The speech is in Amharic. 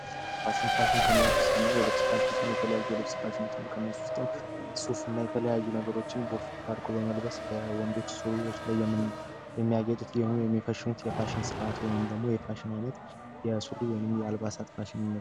ማሽኖች ከምንላቸው ውስጥ አንደኛ የሆነው የልብስ መስፊያ ማሽን ሲሆን የተለያዩ ልብሶችን ሱፍ ለመስፋት በወንዶች ሱሪዎች ላይ የሚፈኑት የፋሽን አይነት ነው የተለያዩ የአልባሳት ፋሽን ነው።